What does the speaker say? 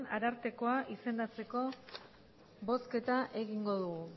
arartekoa izendatzeko bozketa egingo dugu